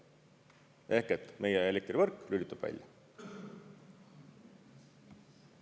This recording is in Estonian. Ehk et meie elektrivõrk lülitub välja.